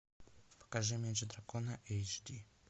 покажи меч дракона эйч ди